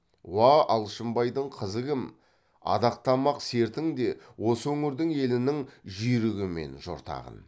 уә алшынбайдың қызы кім адақтамақ сертің де осы өңірдің елінің жүйрігі мен жортағын